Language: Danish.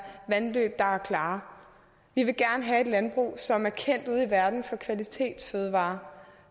vandløb der er klare vi vil gerne have et landbrug som er kendt ude i verden for kvalitetsfødevarer